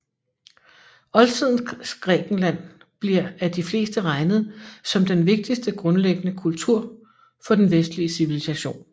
Oldtidens Grækenland bliver af de fleste regnet som den vigtigste grundlæggende kultur for den vestlige civilisation